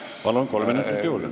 Palun, kolm minutit juurde!